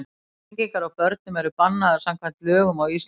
Flengingar á börnum eru bannaðar samkvæmt lögum á Íslandi.